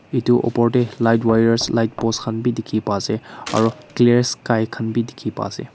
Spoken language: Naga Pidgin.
etu upor teh light wires light post khan bhi dikhi pa ase aru clear sky khan bhi dikhi pa ase.